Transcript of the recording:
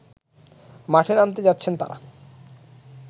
মাঠে নামতে যাচ্ছেন তারা